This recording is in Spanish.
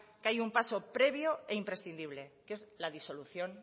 que hay un paso previo e imprescindible que es la disolución